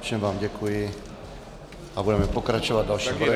Všem vám děkuji a budeme pokračovat dalším bodem.